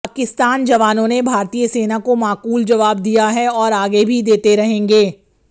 पाकिस्तान जवानों ने भारतीय सेना को माकूल जवाब दिया है और आगे भी देते रहेंगे